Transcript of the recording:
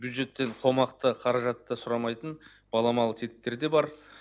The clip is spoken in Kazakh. бюджеттен қомақты қаражатты сұрамайтын баламалы тетіктер де бар